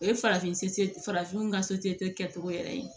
O ye farafin farafinw ka kɛcogo yɛrɛ ye